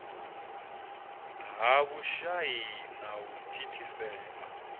ha vhushai na u thithisea